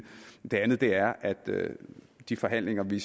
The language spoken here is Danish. og det andet er at de forhandlinger vi